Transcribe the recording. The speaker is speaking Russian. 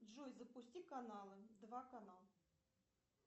джой запусти каналы два канал